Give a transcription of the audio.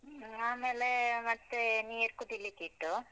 ಹ್ಮ ಆಮೇಲೇ ಮತ್ತೆ ನೀರ್ ಕುದಿಲಿಕ್ಕ್ ಇಟ್ಟು.